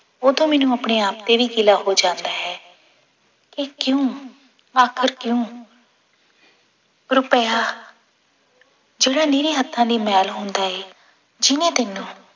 ਉਦੋਂ ਮੈਨੂੰ ਆਪਣੇ ਆਪ ਤੇ ਵੀ ਗਿਲਾ ਹੋ ਜਾਂਦਾ ਕਿ ਕਿਉਂ ਆਖਿਰ ਕਿਉਂ ਰੁਪਇਆ ਜਿਹੜੇ ਨਿਰੇ ਹੱਥਾਂ ਦੀ ਮੈਲ ਹੁੰਦਾ ਹੈ ਜਿਹਨੇ ਤੈਨੂੰ